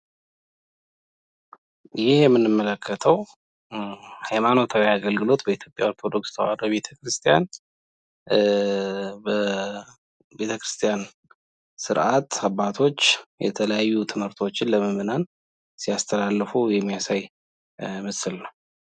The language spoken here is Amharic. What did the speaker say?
ይህ የምንመለከተው ሀይማኖታዊ አግልግሎት በኢትዮጵያ ኦርቶዶክስ ተዋሕዶ ቤተ ክርስቲያን ስርአት አባቶች ትምህርቶችን ለምዕመናን ሲያስተላልፉ የሚያሳይ ምስል ነው ።